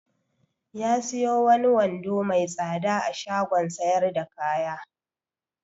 Ya siyo wani wando mai tsada a shagon sayar da kaya.